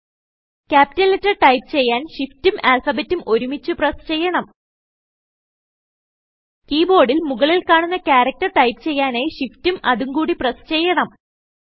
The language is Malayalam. ക്യാപിറ്റൽ ലെറ്റർ ടൈപ്പ് ചെയ്യാൻ ഷിഫ്റ്റും ആല്ഫബെറ്റും ഒരുമിച്ചു പ്രസ് ചെയ്യണം കീബോർഡിൽ മുകളിൽ കാണുന്ന ക്യാരക്ടർ ടൈപ്പ് ചെയ്യാനായി ഷിഫ്റ്റും അതും കൂടി പ്രസ് ചെയ്യണം